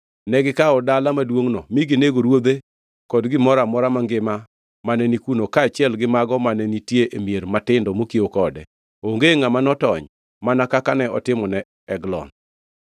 Negikawo dala maduongʼno mi ginego ruodhe kod gimoro amora mangima mane ni kuno kaachiel gi mago mane nitie e mier matindo mokiewo kode. Onge ngʼama notony, mana kaka ne otimone Eglon.